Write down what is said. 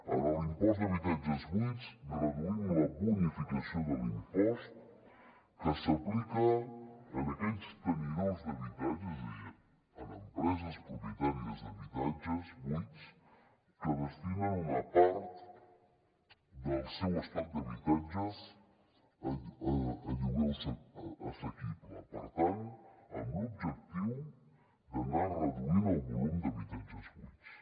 en l’impost d’habitatges buits reduïm la bonificació de l’impost que s’aplica a aquells tenidors d’habitatges és a dir en empreses propietàries d’habitatges buits que destinen una part del seu estoc d’habitatges a lloguer assequible per tant amb l’objectiu d’anar reduint el volum d’habitatges buits